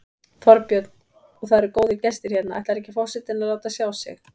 Þorbjörn: Og það eru góðir gestir hérna, ætlar ekki forsetinn að láta sjá sig?